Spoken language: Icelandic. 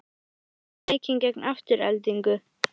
Hvað fannst þér um leikinn gegn Aftureldingu?